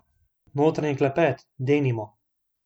Notranji klepet, denimo.